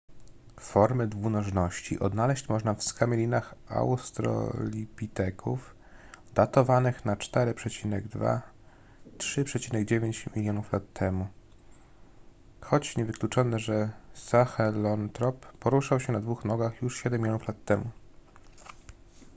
formy dwunożności odnaleźć można w skamielinach australopiteków datowanych na 4,2–3,9 mln lat temu choć niewykluczone że sahelantrop poruszał się na dwóch nogach już siedem milionów lat temu